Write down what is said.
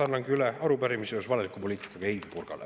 Annangi üle arupärimise seoses valeliku poliitikaga Heidy Purgale.